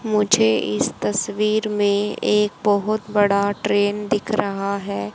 मुझे इस तस्वीर में एक बहोत बड़ा ट्रेन दिख रहा है।